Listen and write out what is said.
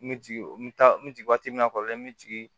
N bɛ jigin n bɛ taa n bɛ jigin waati min na kɔrɔlen n bɛ jigin